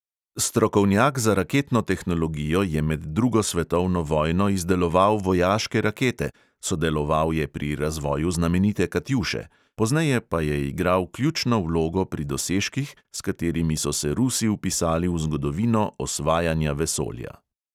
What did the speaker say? Strokovnjak za raketno tehnologijo je med drugo svetovno vojno izdeloval vojaške rakete (sodeloval je pri razvoju znamenite katjuše), pozneje pa je igral ključno vlogo pri dosežkih, s katerimi so se rusi vpisali v zgodovino osvajanja vesolja.